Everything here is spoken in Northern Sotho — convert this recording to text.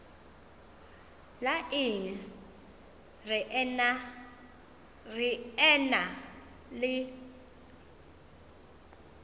la eng re ena le